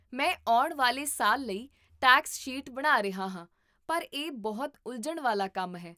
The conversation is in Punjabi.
ਮੈਂ ਆਉਣ ਵਾਲੇ ਸਾਲ ਲਈ ਟੈਕਸ ਸ਼ੀਟ ਬਣਾ ਰਿਹਾ ਹਾਂ, ਪਰ ਇਹ ਬਹੁਤ ਉਲਝਣ ਵਾਲਾ ਕੰਮ ਹੈ